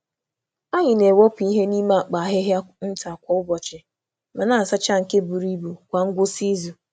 Anyị na-ewepụ ihe n’ime akpa ahịhịa nta kwa ụbọchị, ma na-asacha nke buru ibu kwa ngwụsị izu.